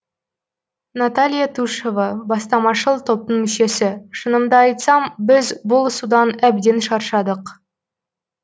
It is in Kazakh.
наталья тушева бастамашыл топтың мүшесі шынымды айтсам біз бұл судан әбден шаршадық